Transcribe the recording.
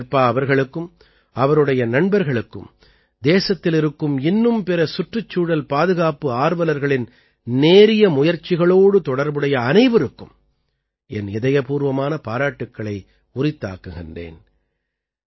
சங்கே ஷெர்பா அவர்களுக்கும் அவருடைய நண்பர்களுக்கும் தேசத்தில் இருக்கும் இன்னும் பிற சுற்றுச்சூழல் பாதுகாப்பு ஆர்வலர்களின் நேரிய முயற்சிகளோடு தொடர்புடைய அனைவருக்கும் என் இதயபூர்வமான பாராட்டுக்களை உரித்தாக்குகிறேன்